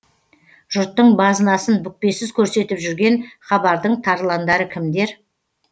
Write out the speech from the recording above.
жұрттың базынасын бүкпесіз көрсетіп жүрген хабардың тарландары кімдер